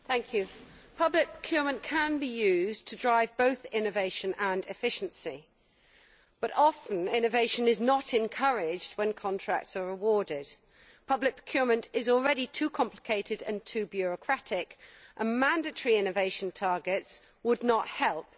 Madam President, public procurement can be used to drive both innovation and efficiency, but often innovation is not encouraged when contracts are awarded. Public procurement is already too complicated and too bureaucratic, and mandatory innovation targets would not help.